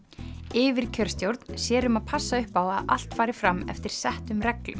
yfirkjörstjórn sér um að passa upp á að allt fari fram eftir settum reglum